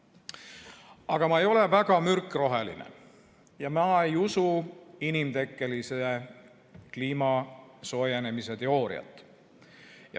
Aga ma ei ole väga mürkroheline ja ma ei usu kliima inimtekkelise soojenemise teooriat.